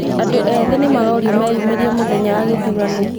Andũ ethĩ nĩ marorio meyumĩrie mũthenya wa gĩthurano.